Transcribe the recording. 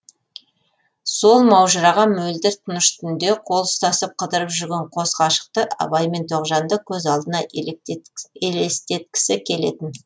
сол маужыраған мөлдір тыныш түнде қол ұстасып қыдырып жүрген қос ғашықты абай мен тоғжанды көз алдына елестеткісі келетін